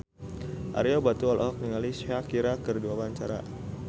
Ario Batu olohok ningali Shakira keur diwawancara